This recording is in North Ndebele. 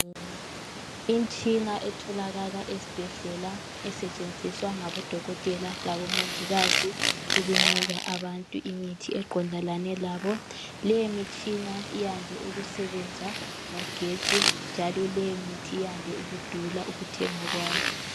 Imtshina etholakala esibhedlela esetshenziswa ngabodokotela labomongikazi ukunika abantu imithi eqondelane labo. Leyi mitshina iyande ukusebenza ngogetsi njalo lemithi yande ukudula ukuthenga kwayo.